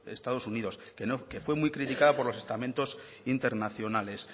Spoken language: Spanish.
estados unidos que fue muy criticada por los estamentos internacionales